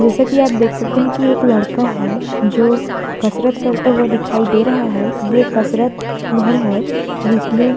जैसा कि आप देख सकते हैं कि एक लड़का है जो कसरत करता हुआ दिखाई दे रहा है। ये कसरत घर है जिसमें --